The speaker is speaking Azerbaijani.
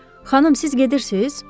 Xanım, siz gedirsiniz?